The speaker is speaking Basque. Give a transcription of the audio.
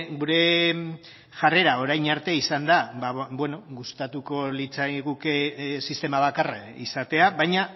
gure jarrera orain arte izan da gustatuko litzaiguke sistema bakarra izatea baina